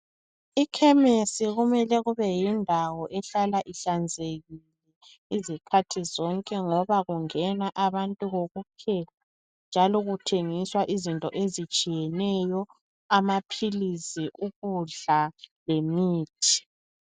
Ikhemesi kumele kube yindawo ehlala ihlanzekile izikhathi zonke ngoba kungena abantu kokuphela njalo kuthengiswa izinto ezitshiyeneyo, amaphilizi, ukudla lemithi.